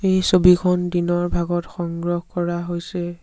এই ছবিখন দিনৰ ভাগত সংগ্ৰহ কৰা হৈছে।